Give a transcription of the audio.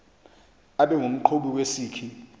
abe ngumqhubi wesikhi